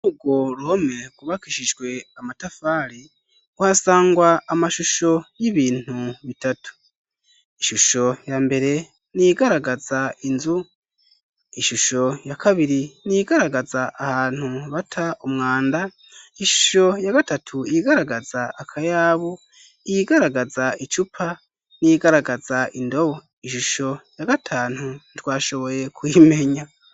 Urwo ruhome rwubakishijwe amatafari, uhasangwa amashusho y'ibintu bitatu. Ishusho ya mbere ni iyigaragaza inzu. Ishusho ya kabiri ni iyigaragaza ahantu bata umwanda. Ishusho ya gatatu ni iyigaragaza akayabu, iyigaragaza icupa n'iyigaragaza indobo. Ishusho ya gatanu ntitwashoboye kuyimenya.